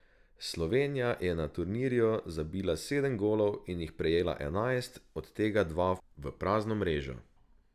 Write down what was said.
Slovenija je na turnirju zabila sedem golov in jih prejela enajst, od tega dva v prazno mrežo.